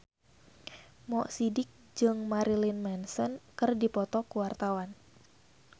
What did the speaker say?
Mo Sidik jeung Marilyn Manson keur dipoto ku wartawan